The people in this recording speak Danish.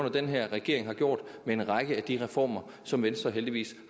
i den her regering har gjort med en række af de reformer som venstre heldigvis